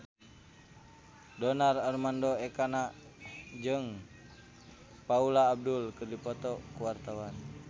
Donar Armando Ekana jeung Paula Abdul keur dipoto ku wartawan